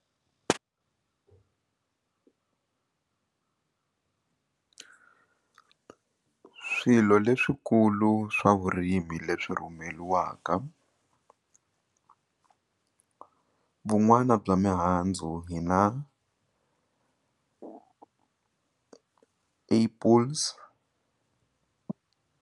Swilo leswikulu swa vurimi leswi rhumeriwaka vun'wana bya mihandzu hi na apples.